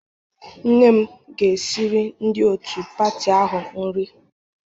Nne m ga-esiri ndị otu pati ahụ nri